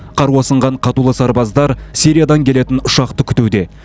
қару асынған қатулы сарбаздар сириядан келетін ұшақты күтуде